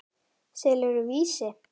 Selurðu Vísi?